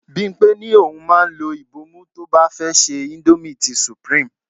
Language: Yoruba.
Bimpe ní òun máa ń lo ibomu tó bá fẹ́ se indomie ti supreme.